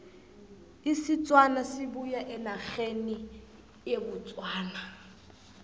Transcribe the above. isitswana sibuya enerheni ye botswana